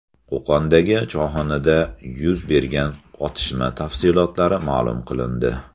Qo‘qondagi choyxonada yuz bergan otishma tafsilotlari ma’lum qilindi.